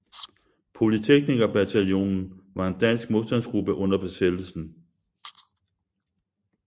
Polytekniker Bataljonen var en dansk modstandsgruppe under besættelsen